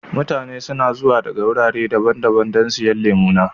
Mutane suna zuwa daga wurare daban-daban don siyan lemu na.